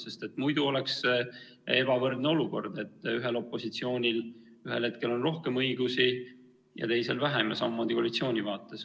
Sest muidu oleks ebavõrdne olukord: ühel opositsioonil on ühel hetkel rohkem õigusi ja teisel vähem, samamoodi koalitsiooni vaates.